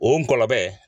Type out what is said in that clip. O gɔlɔlɔ bɛ